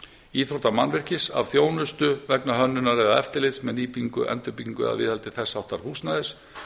íþróttamannvirkis vegna þjónustu vegna hönnunar eða eftirlits með nýbyggingu endurbyggingu eða viðhaldi þess háttar húsnæðis